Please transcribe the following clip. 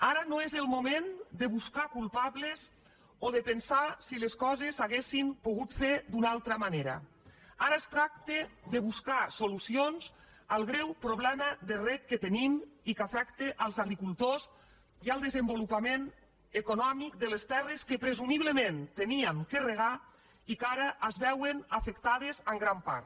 ara no és el moment de buscar culpables o de pensar si les coses s’haurien pogut fer d’una altra manera ara es tracta de buscar solucions al greu problema de reg que tenim i que afecta els agricultors i el desenvolupament econòmic de les terres que presumiblement havíem de regar i que ara es veuen afectades en gran part